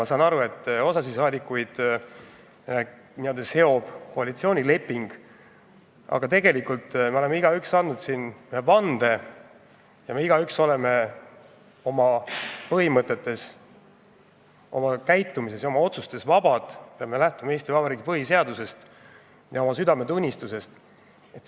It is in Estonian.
Ma saan aru, et osa saadikuid seob koalitsioonileping, aga tegelikult me oleme igaüks siin vande andnud ja me igaüks oleme oma põhimõtetes, oma käitumises ja oma otsustes vabad, me lähtume Eesti Vabariigi põhiseadusest ja oma südametunnistusest.